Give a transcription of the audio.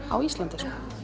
á Íslandi